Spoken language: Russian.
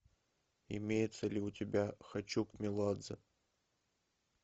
имеется ли у тебя хочу к меладзе